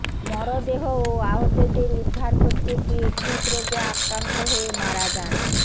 মরদেহ ও আহতদের উদ্ধার করতে গিয়ে হৃদরোগে আক্রান্ত হয়ে মারা যান